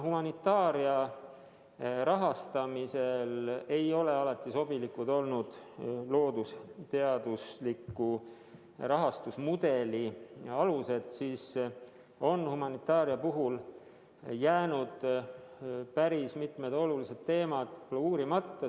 Humanitaaria rahastamisel ei ole loodusteaduste rahastuse mudeli alused alati sobilikud olnud ja nii on humanitaaria puhul jäänud päris mitmed olulised teemad võib-olla uurimata.